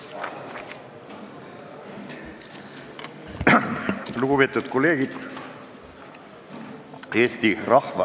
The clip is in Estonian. Lugupeetud kolleegid!